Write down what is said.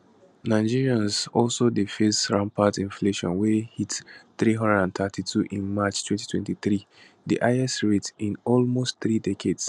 nigerians also dey face rampant inflation wey hit 332 in march 2023 di highest rate in almost three decades